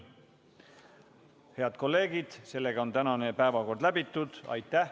Head kolleegid, tänane päevakord on läbitud.